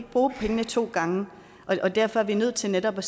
bruge pengene to gange og derfor er vi nødt til netop at